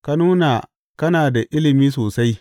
Ka nuna kana da ilimi sosai.